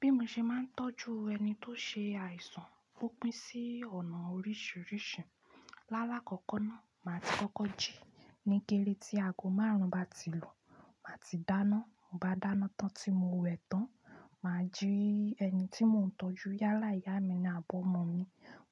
Bí mo ṣe máa ń tọ́jú ẹni tó ṣe àìsàn, ó pín sí ọ̀nà oríṣìíríṣìí. Lalakooko na maa ti koko ji ni gere ti ago maarun bati lu. Màá ti dáná, mo bá dáná tán tí mo wẹ̀ tán, mà á jí ẹni tí mò ń tọ́jú yálà ìyá mi àbí ọmọ mi.